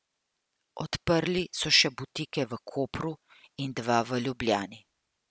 Odprli so še butike v Kopru in dva v Ljubljani.